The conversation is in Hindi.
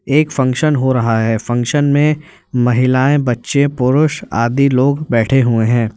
एक फंक्शन हो रहा है फंक्शन में महिलाएं बच्चे पुरूष आदि लोग बैठे हुए हैं।